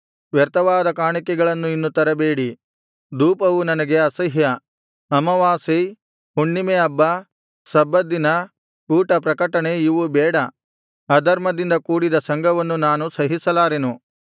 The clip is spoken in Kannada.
ವ್ಯರ್ಥವಾದ ಕಾಣಿಕೆಗಳನ್ನು ಇನ್ನು ತರಬೇಡಿ ಧೂಪವು ನನಗೆ ಅಸಹ್ಯ ಅಮಾವಾಸ್ಯೆ ಹುಣ್ಣಿಮೆಹಬ್ಬ ಸಬ್ಬತ್ ದಿನ ಕೂಟ ಪ್ರಕಟಣೆ ಇವು ಬೇಡ ಅಧರ್ಮದಿಂದ ಕೂಡಿದ ಸಂಘವನ್ನು ನಾನು ಸಹಿಸಲಾರೆನು